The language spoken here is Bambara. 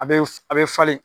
A bɛ a bɛ falen.